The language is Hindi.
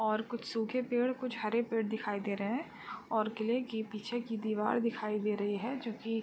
और कुछ सूखे पेड़ और हरे पेड़ दिखाई दे रहे हैं और किले की पीछे की दीवार दिखाई दे रही हैं जो कि --